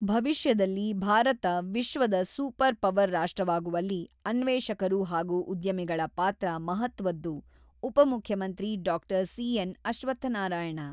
ಭವಿಷ್ಯದಲ್ಲಿ ಭಾರತ ವಿಶ್ವದ super power ರಾಷ್ಟ್ರವಾಗುವಲ್ಲಿ ಅನ್ವೇಷಕರು ಹಾಗೂ ಉದ್ಯಮಿಗಳ ಪಾತ್ರ ಮಹತ್ವದ್ದು-ಉಪಮುಖ್ಯಮಂತ್ರಿ ಡಾಕ್ಟರ್ ಸಿ.ಎನ್.ಅಶ್ವತ್ಥನಾರಾಯಣ, <><><>